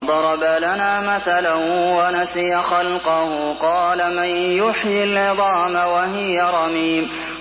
وَضَرَبَ لَنَا مَثَلًا وَنَسِيَ خَلْقَهُ ۖ قَالَ مَن يُحْيِي الْعِظَامَ وَهِيَ رَمِيمٌ